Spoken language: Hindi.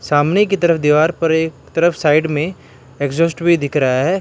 सामने की तरफ दीवार पर एक तरफ साइड में एग्जास्ट भी दिख रहा है।